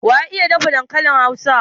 Waya iya dafa dankalin Hausa?